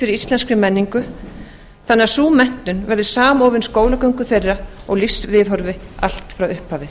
íslenskri menningu þannig að sú menntun verði samofin skólagöngu þeirra og lífsviðhorfi allt frá upphafi